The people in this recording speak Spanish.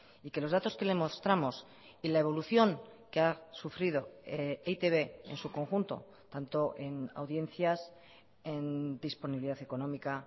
y que los datos que le mostramos y la evolución que ha sufrido e i te be en su conjunto tanto en audiencias en disponibilidad económica